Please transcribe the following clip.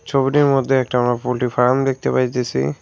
ছবিটির মধ্যে একটা আমরা পোল্ট্রি ফার্ম দেখতে পাইতেছি।